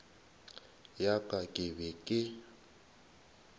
ya ka ke be ke